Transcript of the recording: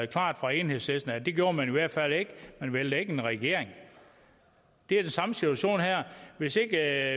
klart fra enhedslisten at det gjorde man i hvert fald ikke man vælter ikke en regering det er den samme situation her hvis ikke